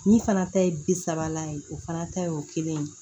Min fana ta ye bi sabala ye o fana ta y'o kelen ye